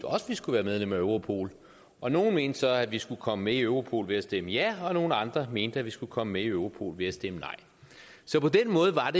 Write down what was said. skulle være medlem af europol og nogle mente så at vi skulle komme med i europol ved at stemme ja og nogle andre mente at vi skulle komme med i europol ved at stemme nej så på den måde var